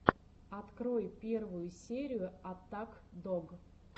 открой первую серию аттак дог